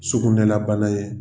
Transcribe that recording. Sugunɛla bana ye.